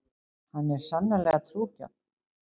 Hann er sannarlega trúgjarn.